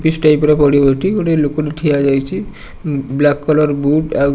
ବିସ୍ type ର ବଡ଼ୁଅଟି ଗୋଟେ ଲୋକଟେ ଠିଆ ଯାଇଚି ଆଉ ବ୍ଲାକ୍ କଲର୍ ବୁଟ୍ ଆଉ